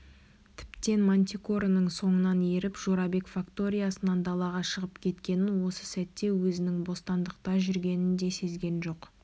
тіптен мантикораның соңынан еріп жорабек факториясынан далаға шығып кеткенін осы сәтте өзінің бостандықта жүргенін де сезген жоқ